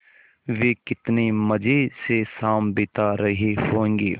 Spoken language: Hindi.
वे कितने मज़े से शाम बिता रहे होंगे